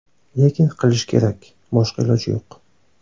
Lekin qilish kerak, boshqa iloji yo‘q.